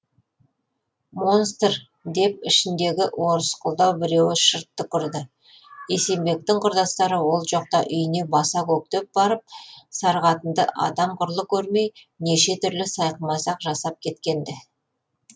монстр деп ішіндегі орысқұлдау біреуі шырт түкірді есенбектің құрдастары ол жоқта үйіне баса көктеп барып сары қатынды адам құрлы көрмей неше түрлі сайқымазақ жасап кеткенді